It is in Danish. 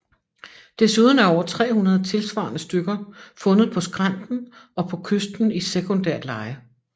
Desuden er over 300 tilsvarende stykker fundet på skrænten og på kysten i sekundært leje